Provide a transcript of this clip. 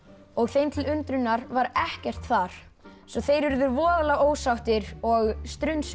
og þeim til undrunar var ekkert þar svo þeir urðu voðalega ósáttir og